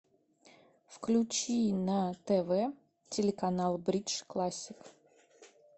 включи на тв телеканал бридж классик